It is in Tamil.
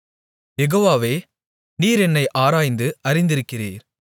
யெகோவாவே நீர் என்னை ஆராய்ந்து அறிந்திருக்கிறீர்